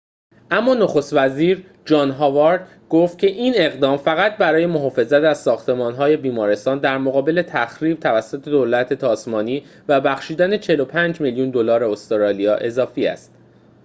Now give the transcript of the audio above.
اما نخست وزیر جان هاوارد گفت که این اقدام فقط برای محافظت از ساختمان‌های بیمارستان در مقابل تخریب توسط دولت تاسمانی و بخشیدن ۴۵ میلیون دلار استرالیا اضافی است